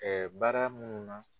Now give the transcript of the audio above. baara munnu na.